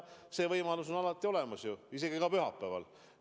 See võimalus on alati olemas isegi pühapäeval.